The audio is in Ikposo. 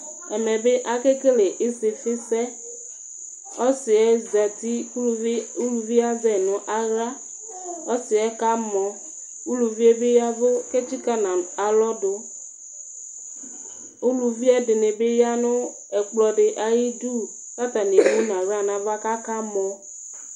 ɛmɛ akekele isifi sɛ, ɔsi yɛ zati kʊ uluvi yɛ azɛ nʊ aɣla ɔsi yɛ kamɔ , uluvi yɛ ta yɛvʊ kʊ etsikǝ nʊ alɔdʊ, uluvi ɛdɩnɩ bɩ ta nʊ ɛkplɔ dɩ ayidu, kʊ atanɩ emu nʊcaɣla nava kʊ akamɔ